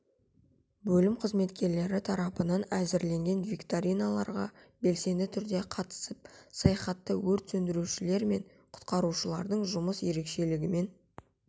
бөлім қызметкерлері тарапынан әзірленген викториналарға белсенді түрде қатысып саяхатта өрт сөндірушілері мен құтқарушылардың жұмыс ерекшелігімен